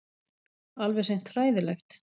Alveg hreint hræðilegt.